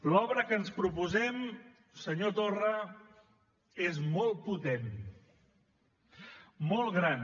l’obra que ens proposem senyor torra és molt potent molt gran